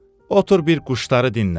Otur bir quşları dinlə.